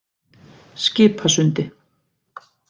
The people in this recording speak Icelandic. Skipasundi